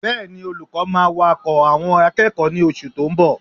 Bẹ́ẹ̀ni, olùkọ́ máa wá kọ́ àwọn akẹ́kọ̀ọ́ ní oṣù tó ń bọ̀